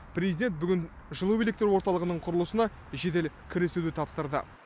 президент бүгін жылу электр орталығының құрылысына жедел кірісуді тапсырды